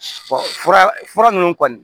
fura fura ninnu kɔni